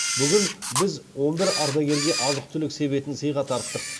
бүгін біз он бір ардагерге азық түлік себетін сыйға тарттық